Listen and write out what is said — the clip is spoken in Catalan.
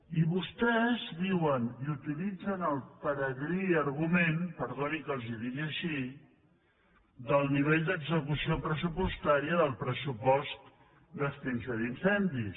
i vostès diuen i utilitzen el peregrí argument perdoni que els ho digui així del nivell d’execució pressupostària del pressupost d’extinció d’incendis